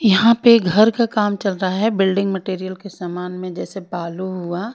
यहां पे घर का काम चल रहा है बिल्डिंग मैटेरियल के समान में जैसे बालू हुआ--